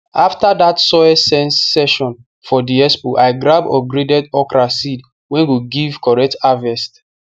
after that soil sense session for the expo i grab upgraded okra seed wey go give correct harvest